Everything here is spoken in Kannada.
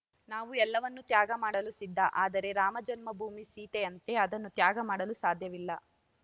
ನಾವು ಎಲ್ಲವನ್ನು ತ್ಯಾಗ ಮಾಡಲು ಸಿದ್ಧ ಆದರೆ ರಾಮಜನ್ಮ ಭೂಮಿ ಸೀತೆಯಂತೆ ಅದನ್ನು ತ್ಯಾಗ ಮಾಡಲು ಸಾಧ್ಯವಿಲ್ಲ